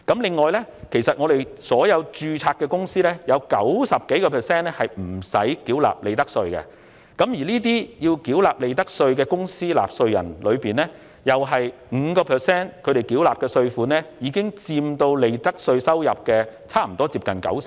此外，在所有註冊公司當中，超過 90% 不必繳納利得稅，而須繳納利得稅的公司，同樣只佔 5%， 其所繳納稅款已佔全部利得稅約 90%。